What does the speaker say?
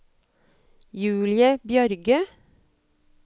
Julie Bjørge